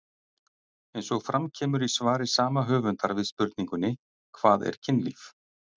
Eins og fram kemur í svari sama höfundar við spurningunni Hvað er kynlíf?